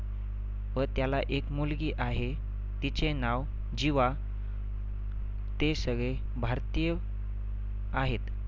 व त्याला एक मुलगी आहे. तिचे नाव जिवा. ते सगळे भारतीय आहेत.